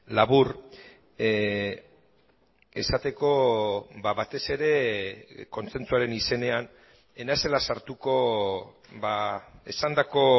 labur esateko batez ere kontsentsuaren izenean ez naizela sartuko esandako